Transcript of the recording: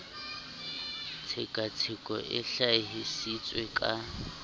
tshekatsheko e hlahi sitswe ka